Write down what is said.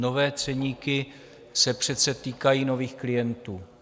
Nové ceníky se přece týkají nových klientů.